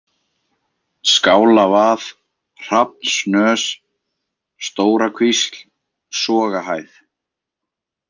Skálavað, Hrafnssnös, Stórakvísl, Sogahæð